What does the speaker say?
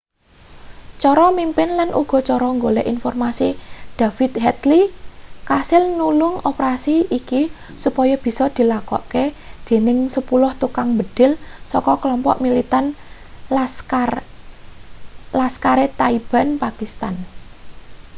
cara mimpin lan uga cara golek informasi david headley kasil nulung operasi iki supaya bisa dilakokne dening 10 tukang mbedhil saka klompok militan laskhar-e-taiba pakistan